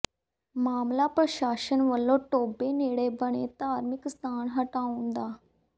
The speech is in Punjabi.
ਮਾਮਲਾ ਪ੍ਰਸ਼ਾਸਨ ਵੱਲੋਂ ਟੋਭੇ ਨੇੜੇ ਬਣੇ ਧਾਰਮਿਕ ਸਥਾਨ ਹਟਾਉਣ ਦਾ